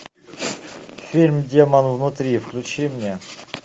фильм демон внутри включи мне